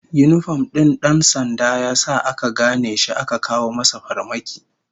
Yinifom din dan sandan ya sa aka gane shi aka kawo masa farmaki